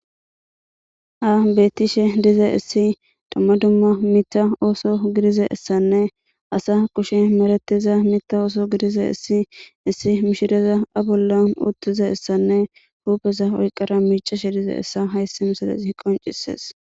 Ha betishe diza issi dumma dumma mita ooso gidiza issanne asa kushe meratiza mita ooso gidiza issi issi mishireza a bollan uttiza issanne huupeza oyqara miicashe diza issa hayssi misalezi qoncisees.